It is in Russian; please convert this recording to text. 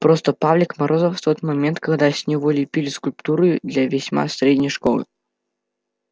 просто павлик морозов в тот момент когда с него лепили скульптуру для весьма средней школы